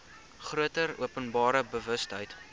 groter openbare bewustheid